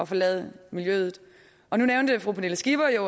forlade miljøet nu nævnte fru pernille skipper jo